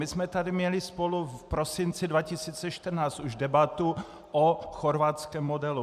My jsme tu měli spolu v prosinci 2014 už debatu o chorvatském modelu.